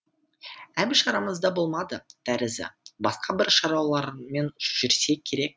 әбіш арамызда болмады тәрізі басқа бір шаруалармен жүрсе керек